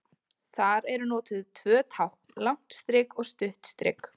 Þar eru notuð tvö tákn, langt strik og stutt strik.